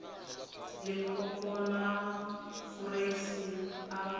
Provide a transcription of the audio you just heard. limpopo na fureisi a a